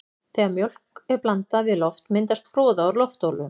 Þegar mjólk er blandað við loft myndast froða úr loftbólum.